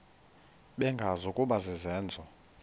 bengazi ukuba izenzo